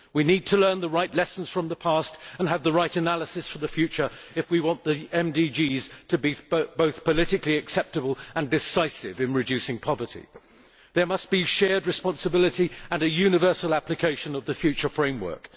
We need to learn the right lessons from the past and have the right analysis for the future if we want the MDGs to be both politically acceptable and decisive in reducing poverty. There must be shared responsibility and universal application of the future framework.